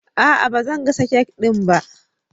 Aa, bazan gasa kek ɗin ba